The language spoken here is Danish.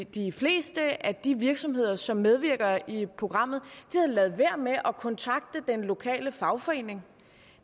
de fleste af de virksomheder som medvirker i programmet ladet være med at kontakte den lokale fagforening